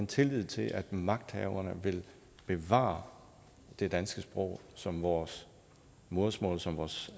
tillid til at magthaverne vil bevare det danske sprog som vores modersmål som vores